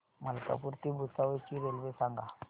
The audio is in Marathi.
मलकापूर ते भुसावळ ची रेल्वे सांगा